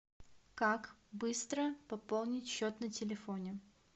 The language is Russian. как быстро пополнить счет на телефоне